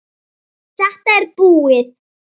Finnst þér hún ekki sæt?